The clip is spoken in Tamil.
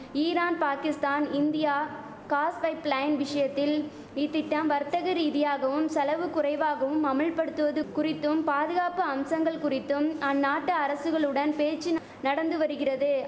Iran Pakistan India gas pipeline விஷயத்தில் இத்திட்டம் வர்த்தக ரீதியாகவும் செலவு குறைவாகவும் அமுல் படுத்துவது குறித்தும் பாதுகாப்பு அம்சங்கள் குறித்தும் அந்நாட்டு அரசுகளுடன் பேச்சு நடந்து வரிகிறது